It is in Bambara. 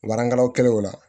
Baarakɛlaw kɛlɛw la